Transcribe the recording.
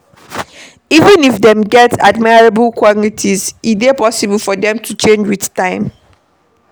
Even if dem get admirable qualities, e dey possible for dem to change with time